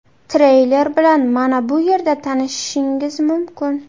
Treyler bilan mana bu yerda tanishishingiz mumkin.